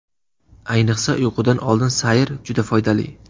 Ayniqsa, uyqudan oldingi sayr juda foydali.